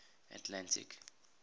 atlantic